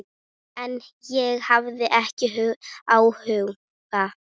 En ég hafði ekki áhuga.